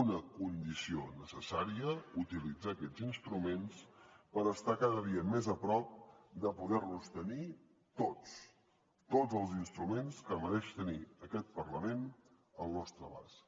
una condició necessària utilitzar aquests instruments per estar cada dia més a prop de poder los tenir tots tots els instruments que mereix tenir aquest parlament al nostre abast